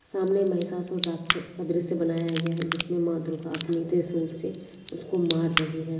सामने महिसासुर राक्षस का दृश्य बनाया गया है जिसमे माँ दुर्गा अपने त्रिसूल से उसको मार रही है।